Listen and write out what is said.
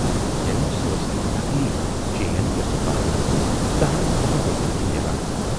یعنے سۅ ٲس اکھ نقلی چین یۅسہٕ بازرس منز دہن وُہَن رۅپین چھِ میلان۔